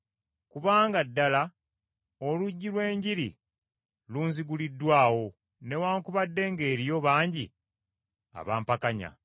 Kubanga ddala oluggi lw’Enjiri lunziguliddwawo, newaakubadde ng’eriyo bangi abampakanya.